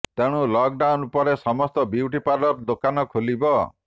ତେଣୁ ଲକଡାଉନ୍ ପରେ ସମସ୍ତ ବିୟୁଟି ପାର୍ଲର ଦୋକାନ ଖୋଲିବ